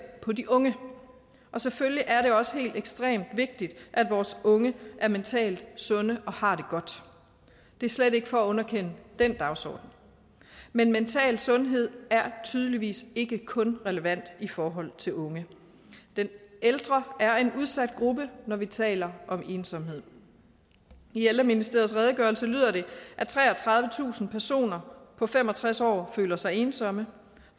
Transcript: på de unge og selvfølgelig er det også helt ekstremt vigtigt at vores unge er mentalt sunde og har det godt det er slet ikke for at underkende den dagsorden men mental sundhed er tydeligvis ikke kun relevant i forhold til unge de ældre er en udsat gruppe når vi taler om ensomhed i ældreministeriets redegørelse lyder det at treogtredivetusind personer på fem og tres år føler sig ensomme